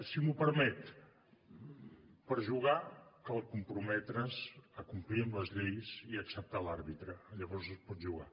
si m’ho permet per jugar cal comprometre’s a complir amb les lleis i acceptar l’àrbitre llavors es pot jugar